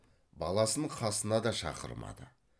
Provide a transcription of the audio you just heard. баласын қасына да шақырмады